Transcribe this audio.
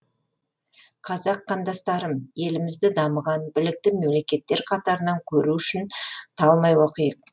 қазақ қандастарым елімізді дамыған білікті мемлекеттер қатарынан көру үшін талмай оқиық